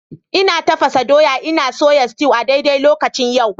Ina tafasa doya ina soya sutew a daidai lokacin yau.